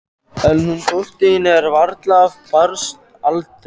En hún dóttir þín er varla af barnsaldri.